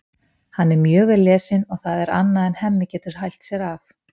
Hann er mjög vel lesinn og það er annað en Hemmi getur hælt sér af.